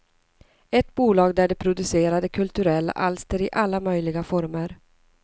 Ett bolag där de producerade kulturella alster i alla möjliga former.